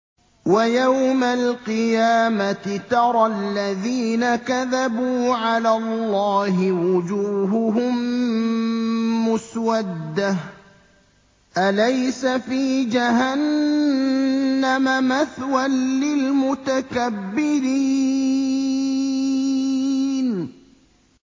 وَيَوْمَ الْقِيَامَةِ تَرَى الَّذِينَ كَذَبُوا عَلَى اللَّهِ وُجُوهُهُم مُّسْوَدَّةٌ ۚ أَلَيْسَ فِي جَهَنَّمَ مَثْوًى لِّلْمُتَكَبِّرِينَ